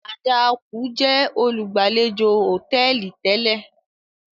Adaaku jẹ olugbalejò hotẹẹli tẹlẹ.